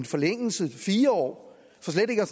forlænget til fire år